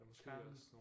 Karen